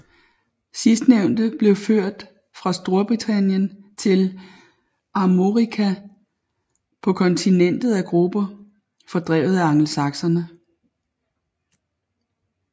Sidstnævnte blev ført fra Storbritannien til Armorica på kontinentet af grupper fordrevet af angelsakserne